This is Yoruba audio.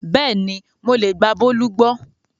Bẹ́ẹ̀ni mo lè gba Bólú gbọ́